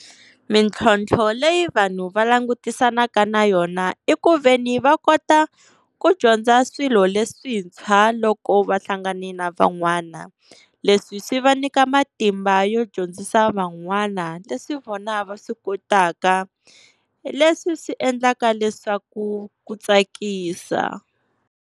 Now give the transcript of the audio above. Mintlhontlho leyi vanhu va langutisanaka na yona i ku veni va kota ku dyondza swilo leswintshwa loko va hlangani na van'wana. Leswi swi va nyika matimba yo dyondzisa van'wana leswi vona va swi kotaka leswi swi endlaka leswaku ku tsakisa.